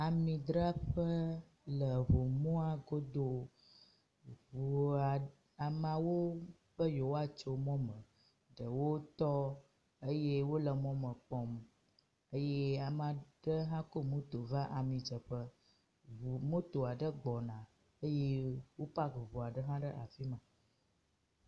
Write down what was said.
Amidzraƒe le eŋu mɔa godo. Ŋua ameawo be yewoatso mɔ me. Ɖewo tɔ eye wo le mɔ me kpɔm eye ame aɖe hã ku moto va amidzeƒe. Ŋu moto aɖe gbɔna eye wo paki ŋu aɖe hã ɖe afi ma.